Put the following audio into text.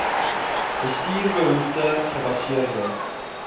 bestuur behoefte gebaseerde